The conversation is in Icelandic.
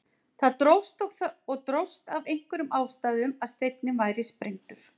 Þó dróst það og dróst af einhverjum ástæðum að steinninn væri sprengdur.